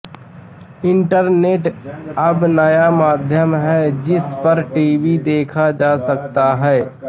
internet अब नया माध्यम है जिस पर टीवी देखा जा सकता है